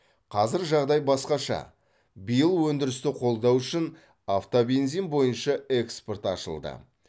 қазір жағдай басқаша биыл өндірісті қолдау үшін автобензин бойынша экспорт ашылды